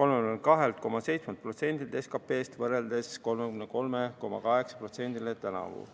32,7%-le SKP-st võrreldes 33,8%-ga tänavu.